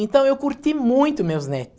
Então eu curti muito meus